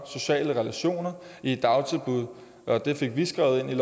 sociale relationer og i et dagtilbud og det fik vi skrevet ind i